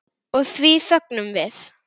Og því fögnum við.